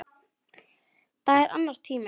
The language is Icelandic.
Það er annar tími.